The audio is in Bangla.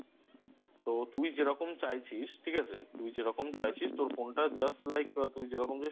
তো তুই যেরকম চাইছিস ঠিক আছে তুই যেরকম চাইছিস তোর Phone টা Just Like তুই যেরকম যাস